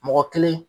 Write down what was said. Mɔgɔ kelen